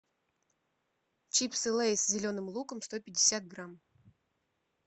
чипсы лейс с зеленым луком сто пятьдесят грамм